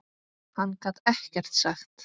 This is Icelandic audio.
Hann gat ekkert sagt.